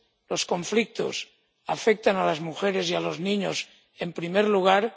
los conflictos afectan a las mujeres y a los niños en primer lugar